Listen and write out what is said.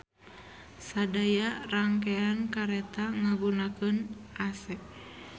Sadaya rangkean kareta ngagunakeun AC